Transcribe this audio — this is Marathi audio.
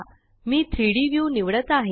मी 3Dव्यू निवडत आहे